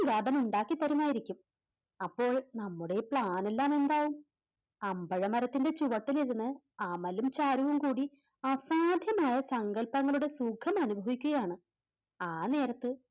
തം ഉണ്ടാക്കിത്തരുമായിരിക്കും അപ്പോൾ നമ്മുടെ Plan നെല്ലം എന്താവും അമ്പഴ മരത്തിൻറെ ചുവട്ടിലിരുന്ന് അമലും ചാരുവും കൂടി അസാധ്യമായ സങ്കൽപ്പങ്ങളുടെ സുഖം അനുഭവിക്കുകയാണ് ആ നേരത്ത്